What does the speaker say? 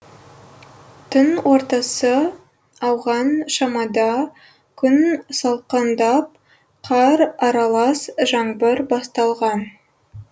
түн ортасы ауған шамада күн салқындап қар аралас жаңбыр басталған